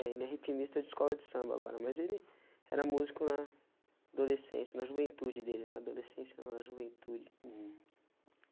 É, ele é ritmista de escola de samba agora, mas ele era músico na adolescência, na juventude dele, né adolescência não, na juventude. Hum